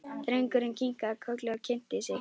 Drengurinn kinkaði kolli og kynnti sig.